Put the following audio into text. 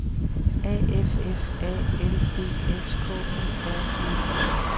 A F F A L D S K U R V E